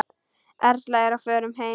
Erla er á förum heim.